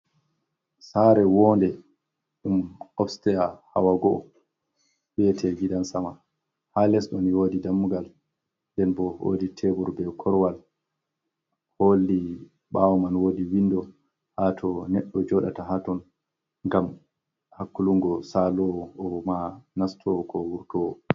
Sare wonde ɗum ofstya hawago’o beyete gidan sama, ha les ɗon wodi dammugal den bo wodi tebur be korwal holli bawo man wodi windo ha to neɗdo joɗata haton ngam hakkulungo salowo, o mo nastowo ko wurtowo.